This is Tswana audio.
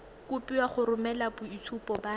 kopiwa go romela boitshupo ba